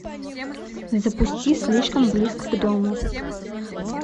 запусти слишком близко к дому